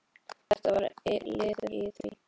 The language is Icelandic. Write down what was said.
Þetta var liður í því.